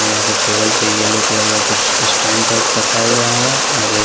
यहां पे टेबल पे येलो कलर का कुछ स्टैंड टाइप रखा हुआ है और --